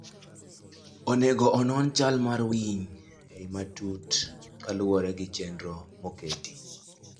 Onego onon chal mar winy e yo matut kaluore gi chenro moketi.